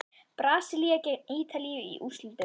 Brasilía gegn Ítalíu í úrslitunum?